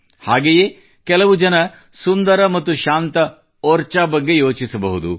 ಹಾಗೆಯೇ ಕೆಲವು ಜನ ಸುಂದರ ಮತ್ತು ಶಾಂತ ಓರ್ಚಾ ಬಗ್ಗೆ ಯೋಚಿಸಬಹುದು